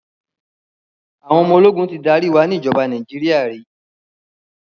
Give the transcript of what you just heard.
Àwọn ọmọ ológun ti darí wa ni ìjọba Nàíjíríà rí.